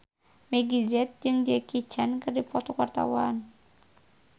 Meggie Z jeung Jackie Chan keur dipoto ku wartawan